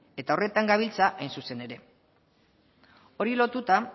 eta horretan gabiltza hain zuzen ere horri lotuta